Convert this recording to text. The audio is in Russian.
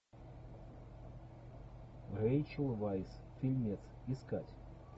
рэйчел вайс фильмец искать